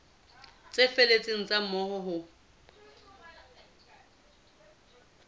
tse felletseng tsa moo ho